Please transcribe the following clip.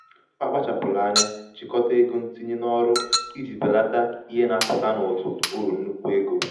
ọ kpachapụrụ anya jikọta ego ntinye n'ọrụ iji belata ihe na-apụta n'ụtụ uru nnukwu um ego.